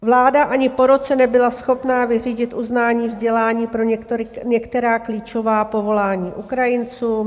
Vláda ani po roce nebyla schopna vyřídit uznání vzdělání pro některá klíčová povolání Ukrajincům.